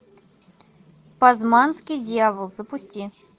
пазманский дьявол запусти